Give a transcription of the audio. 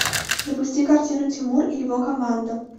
запусти картину тимур и его команда